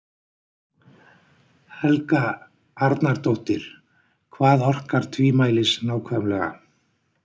Helga Arnardóttir: Hvað orkar tvímælis nákvæmlega?